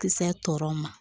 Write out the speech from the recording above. Kisɛ tɔw ma